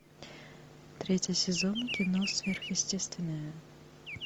третий сезон кино сверхъестественное